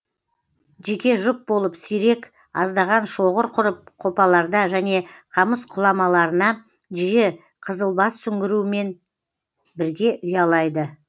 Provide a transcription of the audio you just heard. жеке жұп болып сирек аздаған шоғыр құрып қопаларда және қамыс құламаларына жиі қызылбас сүңгірумен бірге ұялайды